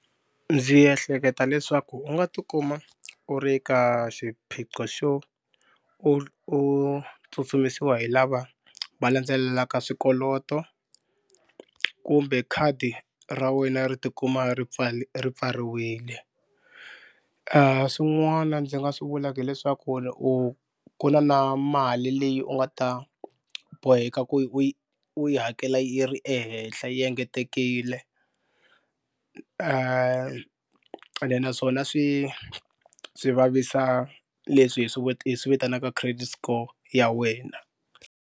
Ndzi ehleketa leswaku u nga tikuma u ri ka xiphiqo xo u u tsutsumisiwa hi lava va landzelelaka swikoloto kumbe khadi ra wena ri tikuma ri ri pfariwile. Swin'wana ndzi nga swi vulaka hileswaku u ku na na mali leyi u nga ta boheka ku yi u yi u yi hakela yi ri ehenhla yi engetekile ende naswona swi swi vavisa leswi hi swi hi swi vitanaka credit score ya wena.